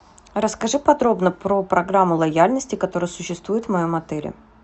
расскажи подробно про программу лояльности которая существует в моем отеле